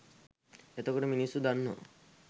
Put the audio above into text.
එතකොට මිනිස්සු දන්නවා